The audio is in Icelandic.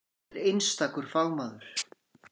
Hann er einstakur fagmaður.